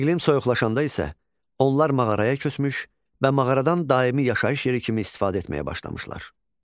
İqlim soyuqlaşanda isə onlar mağaraya köçmüş və mağaradan daimi yaşayış yeri kimi istifadə etməyə başlamışlar.